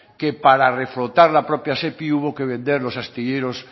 que para reflotar la propia sepi hubo que vender los astilleros